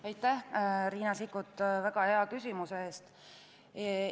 Aitäh, Riina Sikkut, väga hea küsimuse eest!